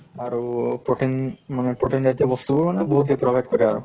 আৰু protein মানে protein জাতিয় বস্তু বহুতে provide কৰে আৰু।